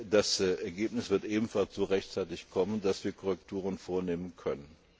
Das Ergebnis wird ebenfalls so rechtzeitig kommen, dass wir Korrekturen vornehmen können.